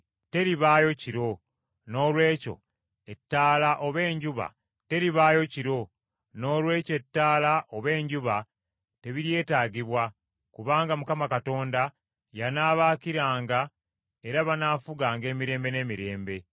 Teribaayo kiro, noolwekyo ettabaaza oba enjuba tebiryetaagibwa, kubanga Mukama Katonda y’anaabaakiranga era banaafuganga emirembe n’emirembe.